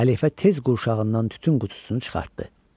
Xəlifə tez qurşağından tütün qutusunu çıxartdı.